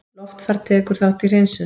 Loftfar tekur þátt í hreinsun